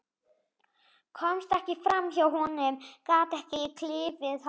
Komst ekki fram hjá honum, gat ekki klifið hann.